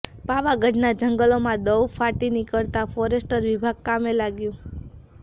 પાવાગઢના જંગલોમાં દવ ફાટી નિકળતા ફોરેસ્ટ વિભાગ કામે લાગ્યું